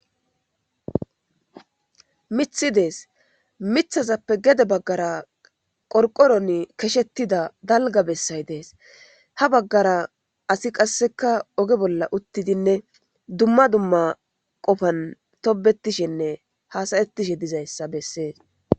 mithi dees mithazappe gede baggara qorqoron keshettida dalga bessay dees ha baggara asi qasseka oge bolla uttidinne dumma dumma qofan tobetishenne hasayettishe dizayssa bessees